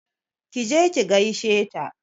Ki je ki gaishe ta!